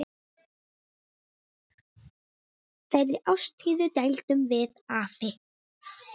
Þeirri ástríðu deildum við afi.